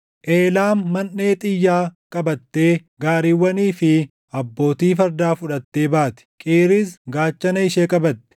Eelaam manʼee xiyyaa qabattee gaariiwwanii fi abbootii fardaa fudhattee baati; Qiiris gaachana ishee qabatti.